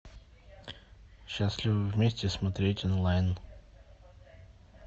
счастливы вместе смотреть онлайн